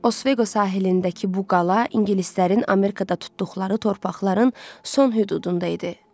Osveto sahilindəki bu qala ingilislərin Amerikada tutduqları torpaqların son hüdudunda idi.